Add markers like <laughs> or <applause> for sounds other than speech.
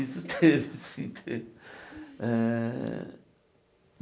Isso <laughs> teve, sim teve. Eh